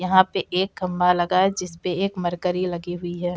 यहाँ पे एक खम्बा लगा हुआ है। जिस पे एक मरकरी लगी हुई है।